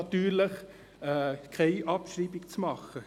Natürlich sollen diese nicht abgeschrieben werden.